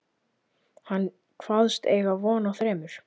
Hann kvaðst eiga von á þremur